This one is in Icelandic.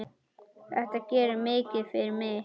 Þetta gerir mikið fyrir mig.